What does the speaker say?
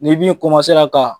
Ni bin ka